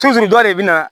dɔ de bɛna